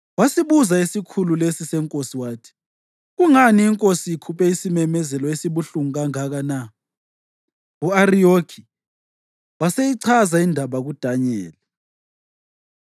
Wasibuza isikhulu lesi senkosi wathi, “Kungani inkosi ikhuphe isimemezelo esibuhlungu kangaka na?” U-Ariyoki waseyichaza indaba kuDanyeli.